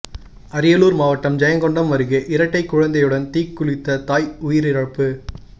அரியலூர் மாவட்டம் ஜெயங்கொண்டம் அருகே இரட்டைக் குழந்தையுடன் தீக்குளித்த தாய் உயிரிழப்பு